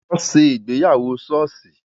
Wọn ṣe ìgbéyàwó soosi